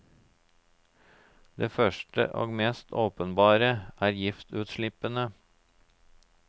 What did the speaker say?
Den første og mest åpenbare er giftutslippene.